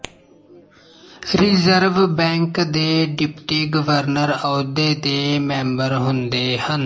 reserve bank ਦੇ deputy governor ਅਹੁਦੇ ਦੇ ਮੈਂਬਰ ਹੁੰਦੇ ਹਨ